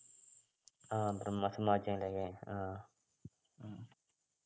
ആഹ് ബ്രഹ്മസമാജൊക്കെലേ ആഹ്